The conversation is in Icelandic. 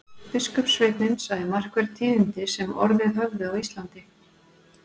Biskupssveinninn sagði markverð tíðindi sem orðið höfðu á Íslandi.